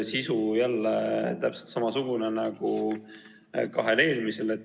Sisu on jälle täpselt samasugune nagu kahe eelmise puhul.